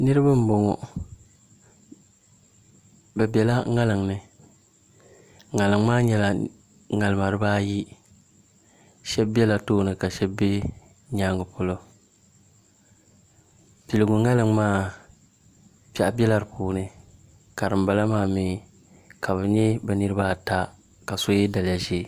Niraba n boŋo bi biɛla ŋarim ni ŋarim maa nyɛla ŋarima dibaayi shab biɛla tooni ka shab bɛ nyaangi polo piligu ŋarim maa piɛɣu biɛla di puuni ka dinbala maa mii ka bi nyɛ bi niraba ata ka so yɛ daliya ʒiɛ